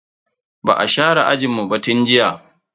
Ba a share ajinmu ba tun jiya.